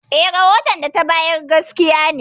Eh, rahoton da ta bayar gaskiya ne.